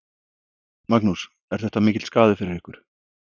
Magnús: Er þetta mikill skaði fyrir ykkur?